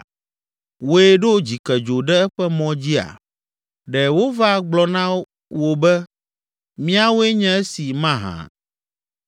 Wòe ɖo dzikedzo ɖe eƒe mɔ dzia? Ɖe wova gblɔna na wò be, ‘Míawoe nye esi’ mahã?